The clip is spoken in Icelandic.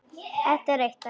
Hér er eitt dæmi.